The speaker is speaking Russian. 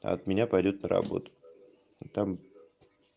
от меня пойдёт на работу а там